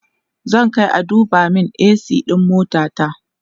zan Kai a duba min a.c ɗin motata